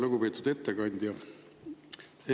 Lugupeetud ettekandja!